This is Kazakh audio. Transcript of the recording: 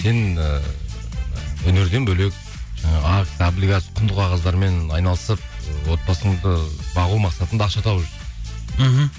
сен ііі өнерден бөлек акция облигация құнды қағаздармен айналысып ы отбасыңды бағу мақсатында ақша тауып жүрсің мхм